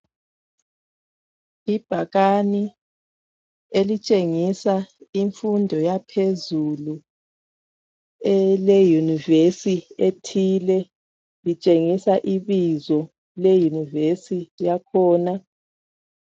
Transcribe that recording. Ibhakani elitshengisa imfundo yaphezulu eleYunivesi ethile .Litshengisa ibizo leYunivesi yakhona.